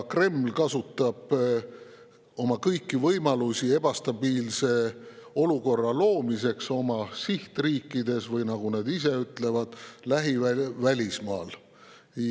Kreml kasutab kõiki oma võimalusi ebastabiilse olukorra loomiseks oma sihtriikides, või nagu nad ise ütlevad, lähivälismaal.